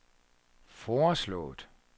foreslået